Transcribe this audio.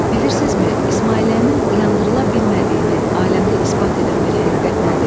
Bilirsinizmi İsmailliyənin yandırıla bilmədiyini aləmdə isbat edən bir həqiqət nədir?